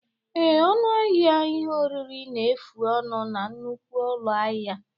Ee, ọnụ ahịa ihe oriri na-efu ọnụ na nnukwu ụlọ ahịa.